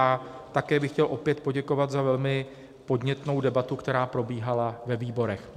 A také bych chtěl opět poděkovat za velmi podnětnou debatu, která probíhala ve výborech.